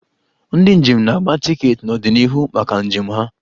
Ndị njem na-agba tiketi n'ọdịnihu maka njem ha.